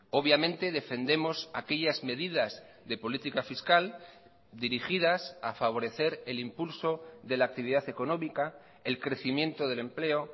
obviamente defendemos aquellas medidas de política fiscal dirigidas a favorecer el impulso de la actividad económica el crecimiento del empleo